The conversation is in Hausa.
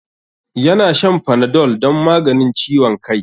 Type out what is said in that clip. Ya na shan Panadol don maganin ciwon kai.